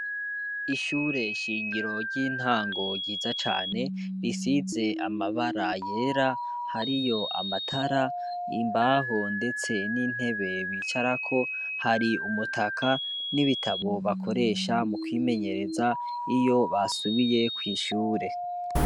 Ishure shingiro ry'intango yiza cane risize amabara yera hari yo amatara imbaho, ndetse n'intebe bicarako hari umutaka n'ibitabo bakoresha mu kwimenyereza iyo basubiye kw'ishure.